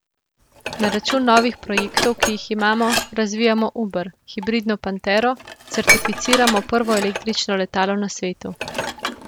Na račun novih projektov, ki jih imamo, razvijamo uber, hibridno pantero, certificiramo prvo električno letalo na svetu.